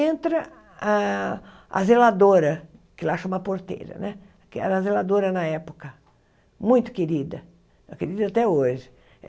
Entra a a zeladora, que lá chama Porteira né, que era zeladora na época, muito querida, querida até hoje.